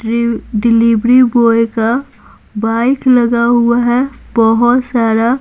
Delivery boy का bike लगा हुआ है बहुत सारा।